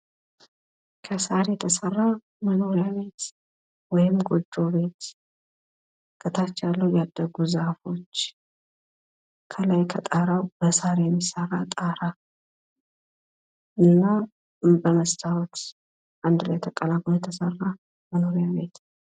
ከስር የተሰራ መኖርያ ቤት ወይም ጎጆ ቤት ፤ከታች ያለው ያደጉ ዛፎች፤ ከላይ በሳር የምሰራ ጣሪያ እና በመስታውት አንድ ላይ ተቀላቅሎ የተሰራ መኖርያ ቤት ።